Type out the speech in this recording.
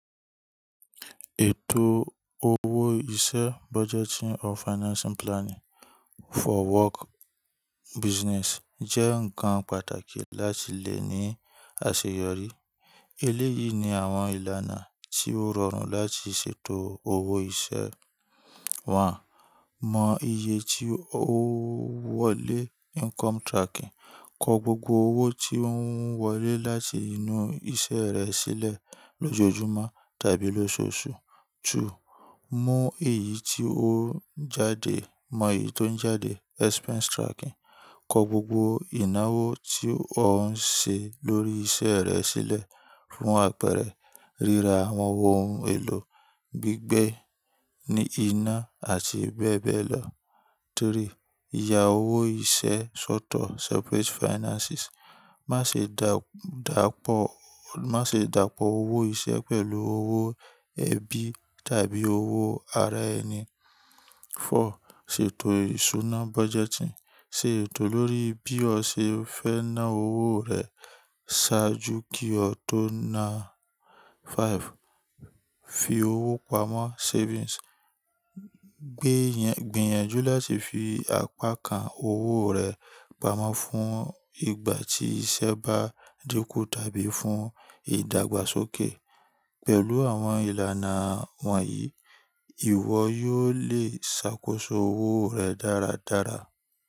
Ètò owó iṣẹ́, budgeting ór financing planning for work business jẹ́ ǹkan pàtàkì láti lè ní àṣeyọrí. Eléyìí ni àwọn ìlànà tí ó rọrùn láti ṣètò owó iṣẹ́. One, mọ iye tí ó ń wọlé, income tracking. Kọ gbogbo owó tí ò ń wọlé láti inú iṣẹ́ rẹ sílẹ̀ lójoojúmọ́ tàbí lóṣooṣù. Two, mọ èyí tí ó ń jáde, mọ èyí tó ń jáde, expense tracking. Kọ gbogbo ìnáwó tí ò ń ṣe lórí iṣẹ́ rẹ sílẹ̀ fún àpẹẹrẹ ríra àwọn ohun èlò gbígbẹ́ ní iná àti bẹ́ẹ̀ bẹ́ẹ̀ lọ. Three, ya owó iṣẹ́ sọ́tọ̀, separate finances. Má ṣe dàpọ̀, má ṣe dàpọ̀ owó iṣẹ́ pẹ̀lú owó ẹbí tàbí owó ara ẹni. Four, ṣètò ìṣúná budgeting. Ṣé ètò lórí bí ọ ṣe fẹ́ ná owó rẹ ṣáájú kí o tó na. Five, fi owó pamọ́, savings. Gbinyànjú láti fi àpákan owó rẹ pamọ́ fún ìgbà tí iṣẹ́ bá dínkù tàbí fún ìdàgbàsókè. Pẹ̀lú àwọn ìlànà wọ̀nyí, ìwọ yóò lè ṣàkóso owó rẹ dáradára.